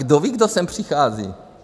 Kdo ví, kdo sem přichází?